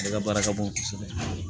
Ale ka baara ka bon kosɛbɛ